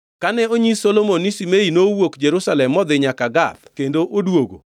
Kane onyis Solomon ni Shimei nowuok Jerusalem modhi nyaka Gath kendo odwogo,